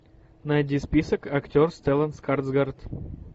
найди список актер стеллан скарсгард